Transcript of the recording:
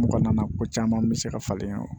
Mɔgɔ nana ko caman bɛ se ka falen yan